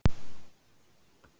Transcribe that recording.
Á miðvikudagskvöld hringir Doddi.